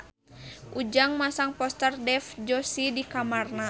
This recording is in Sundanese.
Ujang masang poster Dev Joshi di kamarna